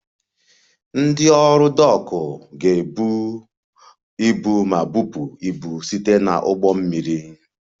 Ndị ọrụ Dock ga-ebu ibu ma bupụ ibu site na ụgbọ mmiri